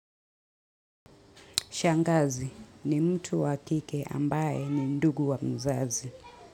Shangazi ni mtu wa kike ambaye ni ndugu wa mzazi.